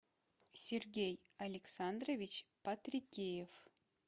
сергей александрович патрикеев